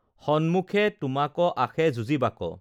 সম্মুখে তোমাক, আসে যুজিবাক,